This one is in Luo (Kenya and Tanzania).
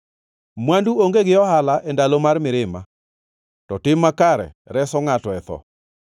Mwandu onge gi ohala e ndalo mar mirima, to tim makare reso ngʼato e tho.